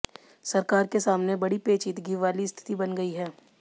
सरकार के सामने बड़ी पेचीदगी वाली स्थिति बन गयी